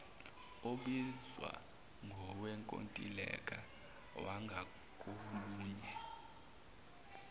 obizwa ngowenkontileka wangakolunye